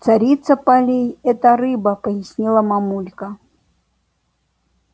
царица полей это рыба пояснила мамулька